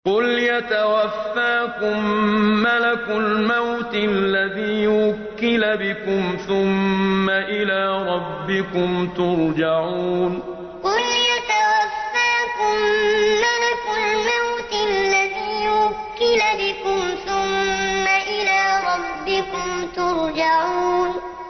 ۞ قُلْ يَتَوَفَّاكُم مَّلَكُ الْمَوْتِ الَّذِي وُكِّلَ بِكُمْ ثُمَّ إِلَىٰ رَبِّكُمْ تُرْجَعُونَ ۞ قُلْ يَتَوَفَّاكُم مَّلَكُ الْمَوْتِ الَّذِي وُكِّلَ بِكُمْ ثُمَّ إِلَىٰ رَبِّكُمْ تُرْجَعُونَ